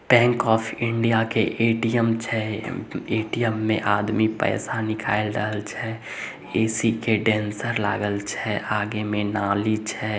Bank of India के ATM छे ATM में आदमी पैसा निकाइल रहल छे ए.सी के डेंसर लागल छे आगे मे नाली छे।